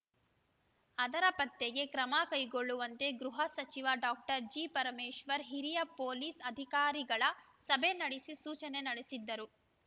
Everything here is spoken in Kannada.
ಅದರ ಪತ್ತೆಗೆ ಕ್ರಮ ಕೈಗೊಳ್ಳುವಂತೆ ಗೃಹ ಸಚಿವ ಡಾಕ್ಟರ್ ಜಿಪರಮೇಶ್ವರ್‌ ಹಿರಿಯ ಪೊಲೀಸ್‌ ಅಧಿಕಾರಿಗಳ ಸಭೆ ನಡೆಸಿ ಸೂಚನೆ ನಡೆಸಿದ್ದರು